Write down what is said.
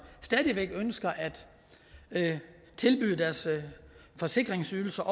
stadig væk ønsker at tilbyde deres forsikringsydelser